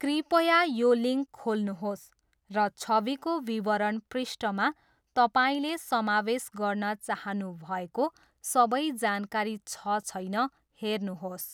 कृपया यो लिङ्क खोल्नुहोस् र छविको विवरण पृष्ठमा तपाईँले समावेश गर्न चाहनुभएको सबै जानकारी छ छैन, हेर्नुहोस्।